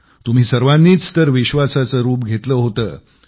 तुम्ही सर्वांनीच तर विश्वासाचं रूप घेतलं होतं